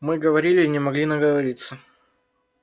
мы говорили и не могли наговориться